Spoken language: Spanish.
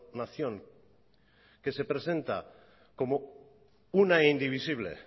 nación que se presenta como una e indivisible